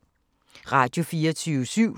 Radio24syv